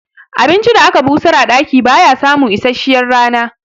Abincin da aka busar a ɗaki baya samun isasshiyar rana